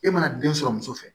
E mana den sɔrɔ muso fɛ